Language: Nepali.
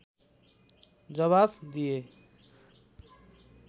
जावाफ दिए